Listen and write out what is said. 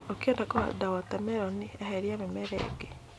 ũkĩhanda wota meroni, eheria mĩmera ĩngĩ.